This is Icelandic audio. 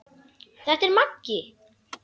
Þetta er Maggi!